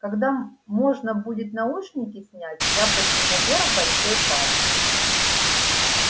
когда можно будет наушники снять я подниму вверх большой палец